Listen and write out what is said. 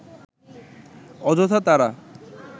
অযথা তারা